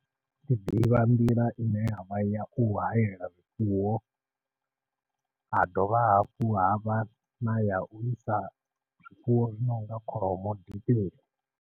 Ndi ḓivha nḓila i ne ya vha ya u hayela zwifuwo, ha dovha hafhu ha vha na ya u isa zwifuwo zwi nonga kholomo dipeni.